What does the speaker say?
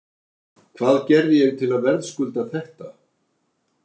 Hvað gerði ég til að verðskulda þetta?